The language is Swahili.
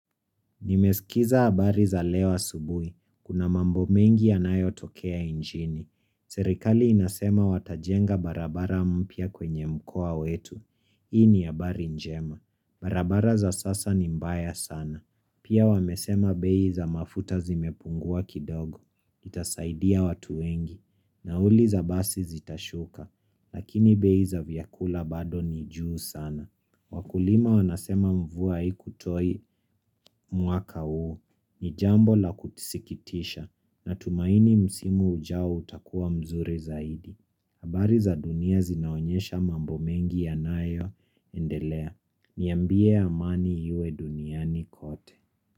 Nimesikiza habari za leo asubui. Kuna mambo mengi yanayo tokea inchini. Serikali inasema watajenga barabara mpya kwenye mkoa wetu. Hii ni habari njema. Barabara za sasa ni mbaya sana. Pia wamesema bei za mafuta zimepungua kidogo. Itasaidia watu wengi. Nauli za basi zitashuka. Lakini bei za vyakula bado ni juu sana. Wakulima wanasema mvua haikutoa mwaka huu ni jambo la kusikitisha natumaini msimu ujao utakuwa mzuri zaidi. Habari za dunia zinaonyesha mambo mengi yanayo endelea. Niambie amani iwe duniani kote.